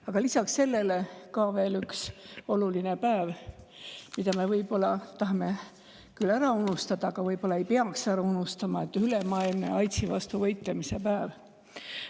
–, aga lisaks sellele veel üks oluline päev, mida me tahame võib-olla küll ära unustada, aga ei peaks ära unustama: ülemaailmne AIDS‑i vastu võitlemise päev.